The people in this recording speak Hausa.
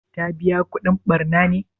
Ta biƴa kudin ɓarna ne?